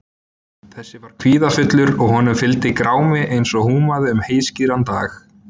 Þessi var kvíðafullur og honum fylgdi grámi eins og húmaði um heiðskíran dag.